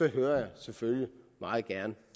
lytter jeg selvfølgelig meget gerne